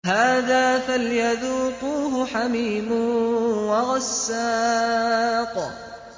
هَٰذَا فَلْيَذُوقُوهُ حَمِيمٌ وَغَسَّاقٌ